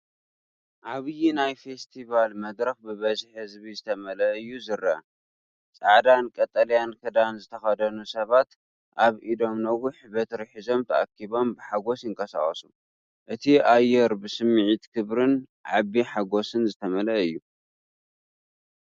ዓብይ ናይ ፌስቲቫል መድረኽ ብብዝሒ ህዝቢ ዝተመልአ እዩ ዝረአ። ጻዕዳን ቀጠልያን ክዳን ዝተኸድኑ ሰባት ኣብ ኢዶም ነዊሕ በትሪ ሒዞም ተኣኪቦም ብሓጎስ ይንቀሳቐሱ። እቲ ኣየር ብስምዒት ክብሪን ዓቢ ሓጎስን ዝተመልአ እዩ።